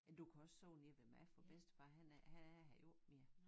Men du kan også sove nede ved mig for bedstefar han er han er her jo ikke mere